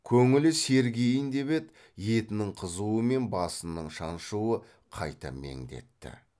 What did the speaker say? көңілі сергиін деп еді етінің қызуы мен басының шаншуы қайта меңдетті